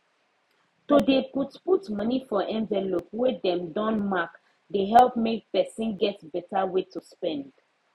to dey put put money for envelope wey dem don mark dey help make person get better way to spend